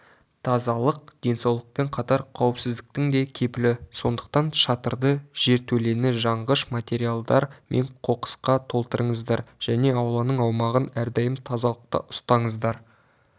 тазалық денсаулықпен қатар қауіпсіздіктің де кепілі сондықтан шатырды жертөлені жанғыш материалдар мен қоқысқа толтырмаңыздар және ауланың аумағын әрдайым тазалықта ұстаңыздар